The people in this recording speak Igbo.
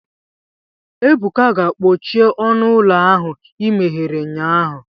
Ebuka, gaa kpochie ọnụ ụlọ ahụ i meghere ụnyahụ